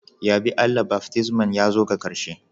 Yabe Allah, baftisman ya zo ga karshe.